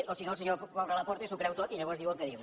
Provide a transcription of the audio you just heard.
o si no el senyor pobre laporta s’ho creu tot i llavors diu el que diu